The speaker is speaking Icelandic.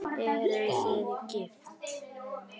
Eruð þið gift?